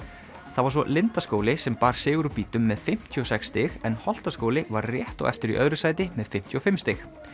það var svo Lindaskóli sem bar sigur úr bítum með fimmtíu og sex stig en Holtaskóli var rétt á eftir í öðru sæti með fimmtíu og fimm stig